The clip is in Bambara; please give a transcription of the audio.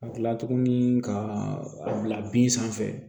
Ka kila tuguni ka a bila bin sanfɛ